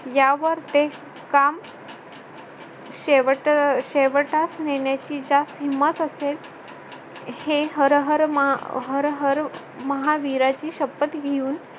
यावर ते काम शेवट अह शेवटास नेण्याची ज्यास हिंमत असेल हे हर हर महा अह हर हर महावीराची शपथ घेऊन